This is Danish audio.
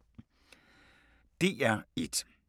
DR1